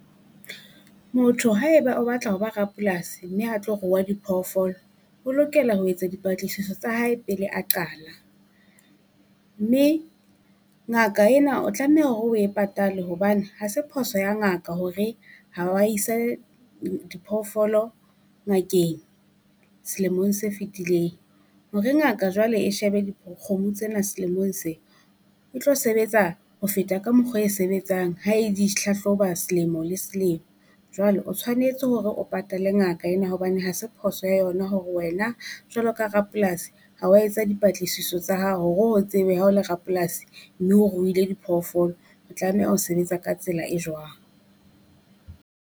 Motho haeba o batla ho ba rapolasi, mme a tlo rua diphoofolo, o lokela ho etsa dipatlisiso tsa hae pele a qala. Mme ngaka ena o tlameha hore o e patale hobane ha se phoso ya ngaka hore ha wa isa diphoofolo ngakeng selemong se fitileng. Hore ngaka jwale e shebe di kgomo tsena selemong se, e tlo sebetsa ho feta ka mokgwa e sebetsang ha e di hlahloba selemo le selemo. Jwalo o tshwanetse hore o patale ngaka ena hobane ha se phoso ya yona hore wena jwalo ka rapolasi ha wa etsa dipatlisiso tsa hao hore o tsebe ha o le rapolasi, mme o ruile diphoofolo. Re tlameha ho sebetsa ka tsela e jwang.